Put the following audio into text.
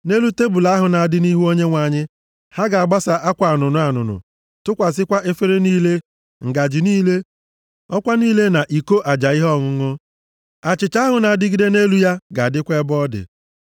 “Nʼelu tebul ahụ na-adị nʼihu Onyenwe anyị, ha ga-agbasa akwa anụnụ anụnụ tụkwasịkwa efere niile, ngaji niile, ọkwa niile na iko aja ihe ọṅụṅụ. Achịcha ahụ na-adịgide nʼelu ya ga-adịkwa ebe ọ dị.